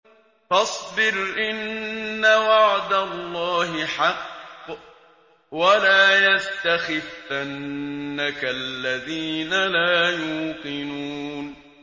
فَاصْبِرْ إِنَّ وَعْدَ اللَّهِ حَقٌّ ۖ وَلَا يَسْتَخِفَّنَّكَ الَّذِينَ لَا يُوقِنُونَ